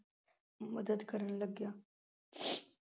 ਮੱਦਦ ਕਰਨ ਲੱਗਿਆ